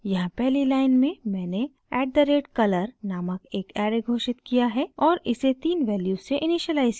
यहाँ पहली लाइन में मैंने @color नामक एक ऐरे घोषित किया है और इसे तीन वैल्यूज़ से इनिशिअलाइज़ किया है